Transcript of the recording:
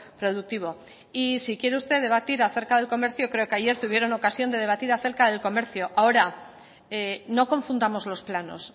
productivo y si quiere usted debatir acerca del comercio creo que ayer tuvieron ocasión de debatir acerca del comercio ahora no confundamos los planos